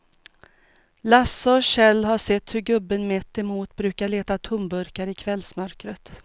Lasse och Kjell har sett hur gubben mittemot brukar leta tomburkar i kvällsmörkret.